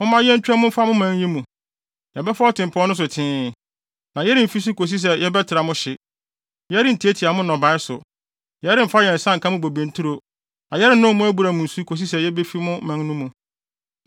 “Momma yentwa mu mfa mo man yi mu. Yɛbɛfa ɔtempɔn no so tee, na yɛremfi so kosi sɛ yɛbɛtra mo hye. Yɛrentiatia mo nnɔbae so, yɛremfa yɛn nsa nka mo bobe nturo, na yɛrennom mo abura mu nsu kosi sɛ yebefi mo man no mu.”